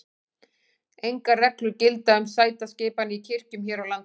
engar reglur gilda um sætaskipan í kirkjum hér á landi